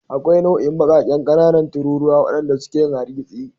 Akwai nau'in baƙaƙen ƙanana tururuwa waɗanda suke yin hargitsi.